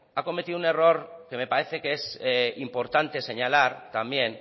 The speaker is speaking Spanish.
ha cometido un error que me parece que es importante señalar también